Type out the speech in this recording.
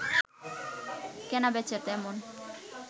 কেনা-বেচা তেমন